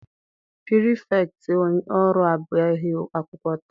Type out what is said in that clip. Pirifektị ọrụ abịaghị akwụkwọ taa.